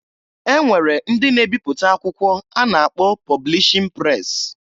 E nwere ndị na-ebipụta akwụkwọ a na-akpọ pọblishin pres.